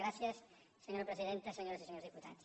gràcies senyora presidenta senyores i senyors diputats